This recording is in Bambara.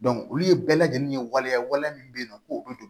olu ye bɛɛ lajɛlen ye waliya waliya min bɛ yen nɔ ko o bɛ don